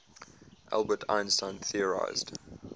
albert einstein theorized